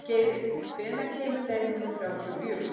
Geiri, hvenær kemur leið númer þrjátíu og fjögur?